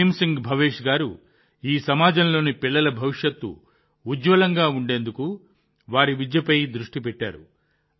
భీమ్ సింగ్ భవేష్ గారు ఈ సమాజంలోని పిల్లల భవిష్యత్తు ఉజ్వలంగా ఉండేందుకు వారి విద్యపై దృష్టి పెట్టారు